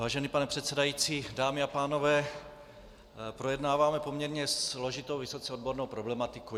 Vážený pane předsedající, dámy a pánové, projednáváme poměrně složitou, vysoce odbornou problematiku.